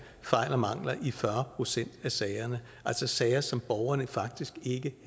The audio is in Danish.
fejl og mangler i fyrre procent af sagerne altså sager som borgerne faktisk ikke